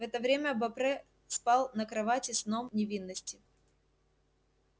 в это время бопре спал на кровати сном невинности